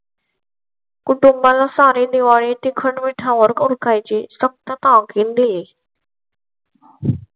कुटुंबा ला सारे दिवाळी तील खंडपीठा वर खायची शकतं का गेम ही.